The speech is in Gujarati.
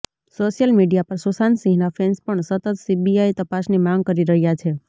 સોશિયલ મીડિયા પર સુશાંત સિંહના ફેન્સ પણ સતત સીબીઆઈ તપાસની માંગ કરી રહ્યા છે